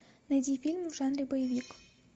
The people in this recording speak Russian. найди фильм в жанре боевик